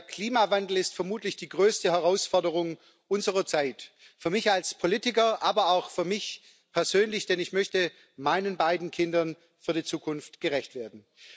Der Klimawandel ist vermutlich die größte Herausforderung unserer Zeit für mich als Politiker, aber auch für mich persönlich, denn ich möchte meinen beiden Kindern für die Zukunft gerecht werden.